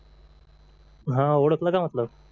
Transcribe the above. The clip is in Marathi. हा ओळखलं का म्हटलं